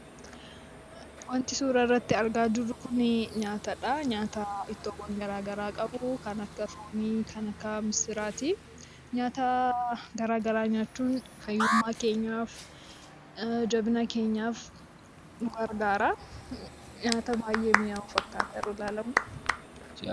Wanti suuraa kana irratti argaa jirru kun nyaatadha. Nyaata ittoowwan garaa garaa qabu; kan akka foonii, kan akka misiraati. Nyaata garaa garaa nyaachuun fayyummaa keenyaaf, jabina keenyaaf nu gargaara. Nyaata baay'ee miyaawu fakkaata yeroo ilaalamu.